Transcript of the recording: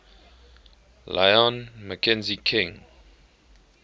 lyon mackenzie king